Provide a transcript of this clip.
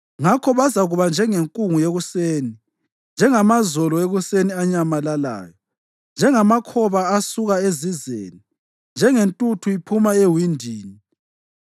Ngakho bazakuba njengenkungu yekuseni, njengamazolo ekuseni anyamalalayo, njengamakhoba asuka ezizeni, njengentuthu iphuma ewindini.